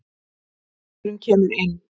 Geldingurinn kemur inn.